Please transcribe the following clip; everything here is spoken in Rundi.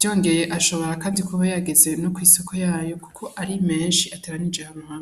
Vyongeye ashobora kandi kuba yageze no kw'isoko yayo kuko ari menshi ateranirike ahantu hamwe.